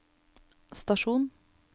stasjon